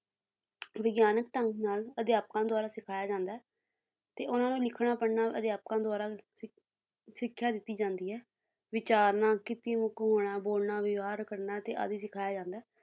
ਵਿਗਿਆਨਕ ਢੰਗ ਨਾਲ ਅਧਿਆਪਕਾਂ ਦੁਆਰਾ ਸਿਖਾਇਆ ਜਾਂਦਾ ਹੈ ਤੇ ਉਹਨਾਂ ਨੂੰ ਲਿਖਣਾ ਪੜ੍ਹਨਾ ਅਧਿਆਪਕਾਂ ਦੁਆਰਾ ਸਿ ਸਿੱਖਿਆ ਦਿੱਤੀ ਜਾਂਦੀ ਹੈ, ਵਿਚਾਰਨਾ ਕੀਤੀਮੁਖ ਹੋਣਾ, ਬੋਲਣਾ, ਵਿਵਹਾਰ ਕਰਨਾ ਤੇ ਆਦਿ ਸਿਖਾਇਆ ਜਾਂਦਾ ਹੈ